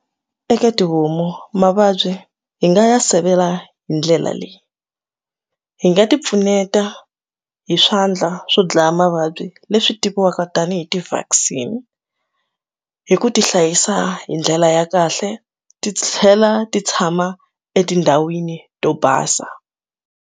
Eka tihomu mavabyi hi nga ya sivela hi ndlela leyi hi nga ti pfuneta hi swandla swo dlaya mavabyi leswi tiviwaka tanihi ti vaccine hi ku ti hlayisa hi ndlela ya kahle ti tlhela ti tshama etindhawini to basa.